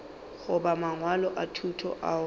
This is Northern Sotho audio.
goba mangwalo a thuto ao